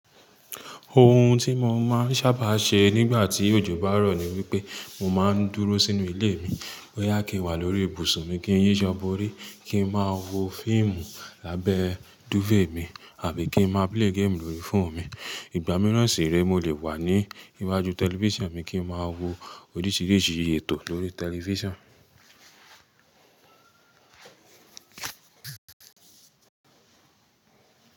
Ohun tí mo máa ń sábà ṣe nígbà tí òjò bá rọ̀ ni wípé mo máa ń dúró sínú ilé mi. Boyà kí n wà lórí ibùsùn mi kí n yíṣọ́ borí, kí n máa wo fíìmù lábẹ́ dúfèè mi àbí kí n máa play game lórí fóònù mi. Ìgbà mìíràn sì rẹ́ mo lè wà ní iwájú tẹlifíṣàn mi kí n máa wo oríṣìíríṣìí ètò lórí tẹlifíṣàn.